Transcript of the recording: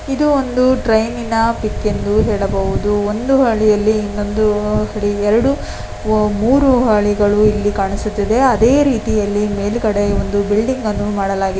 ಇದೊಂದು ಟ್ರೈನಿನ ಪಿಕ್ ಎಂದು ಹೇಳಬಹುದು ಒಂದು ಮೂರೂ ಅಲಿಗಳು ಇಲ್ಲಿ ಕಾಣಿಸುತಿದೆ ಅದೇ ರೀತಿಯಲ್ಲಿ ಮೇಲ್ಗಡೆ ಒಂದು ಬಿಲ್ಡಿಂಗ್ ಅನ್ನು ಮಾಡಲಾಗಿದೆ.